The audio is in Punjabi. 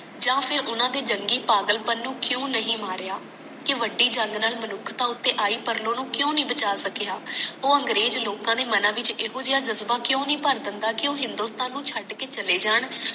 ਯਾ ਫਿਰ ਉਹਨਾਂ ਦੇ ਜੰਗਲੀ ਪਾਗਲਪਨ ਨੂੰ ਕਿਊ ਨਹੀਂ ਮਾਰਿਆ ਕਿ ਬੜੀ ਜੰਗ ਨਾਲ ਮਨੁੱਖਤਾ ਉਤੇ ਆਈ ਪਰਲੋ ਨੂੰ ਕਿਊ ਨਹੀਂ ਬਚਾ ਸਕਿਆ ਉਹ ਅੰਗਰੇਜ ਲੋਕਾਂ ਦੇ ਮਨਾਂ ਵਿੱਚ ਏਹੋਜਾ ਜਜਬਾ ਕਯੋ ਨਹੀਂ ਭਰ ਦਿੰਦਾ ਕਿ ਉਹ ਹਿੰਦੁਸਤਾਨ ਨੂੰ ਛੱਡ ਕੇ ਚਲੇ ਜਾਨ